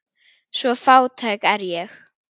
Svo fátæk er ég.